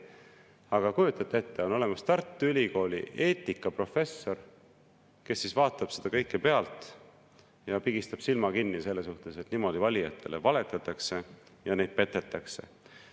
Aga kujutate ette, on olemas Tartu Ülikooli eetikaprofessor, kes vaatab seda kõike pealt ja pigistab silma kinni selles suhtes, et niimoodi valijatele valetatakse ja neid petetakse.